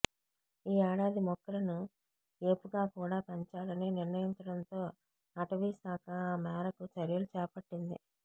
ఈ ఏడాది మొక్కలను ఏపుగా కూడా పెంచాలని నిర్ణయించడంతో అటవీశాఖ ఆ మేరకు చర్యలు చేపట్టింది